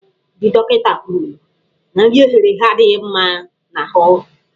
Ndị dọkịta kwuru na nri eghere eghe adịghị mma n'ahụ.